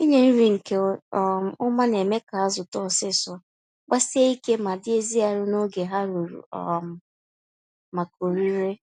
Inye nri nke um ọma némè' ka azụ too ọsịsọ, gbasie ike ma dị ezi arụ n'oge ha ruru um maka orire